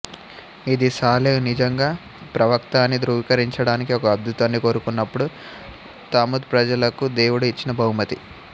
ఇది సాలెహ్ నిజంగా ప్రవక్త అని ధ్రువీకరించడానికి ఒక అద్భుతాన్ని కోరుకున్నప్పుడు తముద్ ప్రజలకు దేవుడు ఇచ్చిన బహుమతి